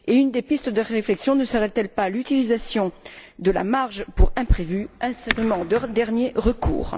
Une des pistes de réflexion ne serait elle pas l'utilisation de la marge pour imprévus, instrument de dernier recours?